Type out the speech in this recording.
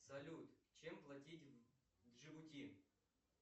салют чем платить в джибути